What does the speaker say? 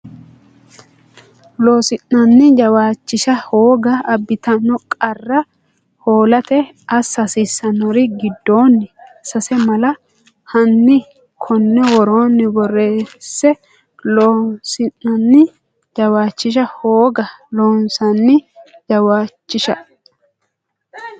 Loossinanni jawaachisha hooga abbitanno qarra hoolate assa hasiissannori giddonni sase mala hanni konni woroonni borreesse Loossinanni jawaachisha hooga Loossinanni jawaachisha.